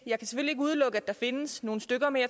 udelukke at der findes nogle stykker men